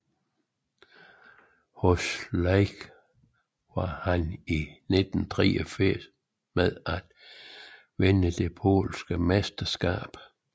Hos Lech var han i 1983 med til at vinde det polske mesterskab